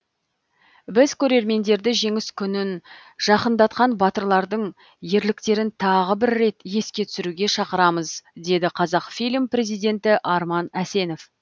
біз көрермендерді жеңіс күнін жақындатқан батырлардың ерліктерін тағы бір рет еске түсіруге шақырамыз деді қазақфильм президенті арман әсенов